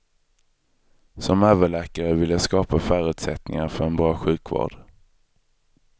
Som överläkare vill jag skapa förutsättningar för en bra sjukvård.